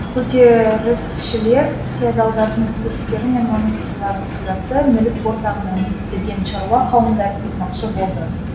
көтерісшілер феодалдардың иеліктері мен монастырларын қиратты мүлік ортақтығына негізделген шаруа қауымдарын құрмақшы болды